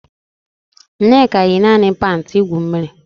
Nneka yi naanị panti igwu mmiri